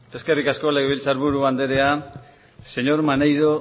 eskerrik asko legebiltzar buru andrea señor maneiro